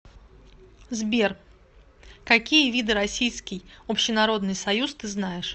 сбер какие виды российский общенародный союз ты знаешь